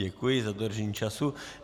Děkuji za dodržení času.